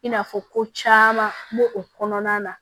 I n'a fɔ ko caman b'o o kɔnɔna na